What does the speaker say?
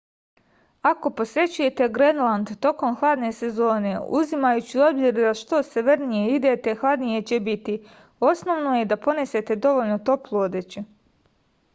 ако посећујете гренланд током хладне сезоне узимајући у обзир да што северније идете хладније ће бити основно је да понесете довољно топлу одећу